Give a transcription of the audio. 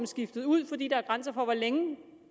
skiftet ud fordi der er grænser for hvor længe en